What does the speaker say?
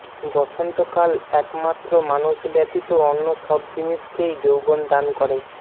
বসন্তকাল একমাত্র মানুষ ব্যতীত অন্য সব জিনিসকেই যৌবন দান করে